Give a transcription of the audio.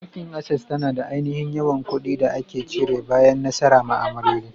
Bankin Access tana da aininhin yawan ƙudi da ake cire bayan nasara ma'amaloli.